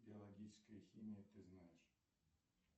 биологическая химия ты знаешь